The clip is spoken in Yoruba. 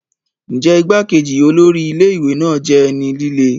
Ǹjẹ́ igbá-kejì olórí ilé ìwé náà jẹ́ ẹni líle?